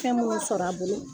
Fɛn m'o sɔrɔ a bolo.